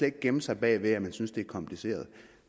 ikke gemme sig bag ved at man synes det er kompliceret